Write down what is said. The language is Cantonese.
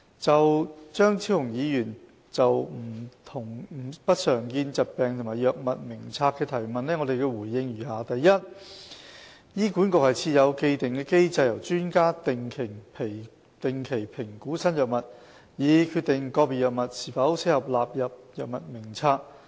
就張超雄議員就不常見疾病及藥物名冊的提問，我回應如下。一醫管局設有既定機制，由專家定期評估新藥物，以決定個別藥物是否適合納入藥物名冊。